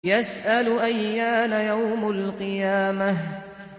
يَسْأَلُ أَيَّانَ يَوْمُ الْقِيَامَةِ